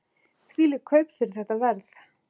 Þvílík kaup fyrir þetta verð!